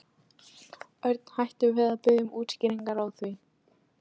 Örn hætti við að biðja um útskýringar á því.